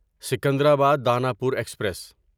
Secunderabad Danapur express